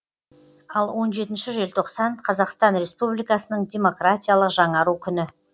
ал он жетінші желтоқсан қазақстан республикасының демократиялық жаңару күні